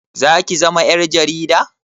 Zaki zama ƴar jarida?